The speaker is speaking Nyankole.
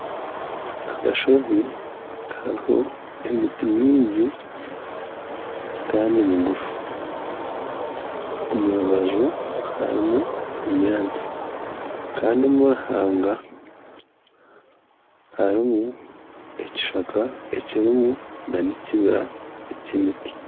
Akashozi kariho emiti mingi Kandi migufu. Omurubaju harimu obunyaatsi Kandi omuruhanga harimu ekishaka ekirimu nana ekibira ky'emiti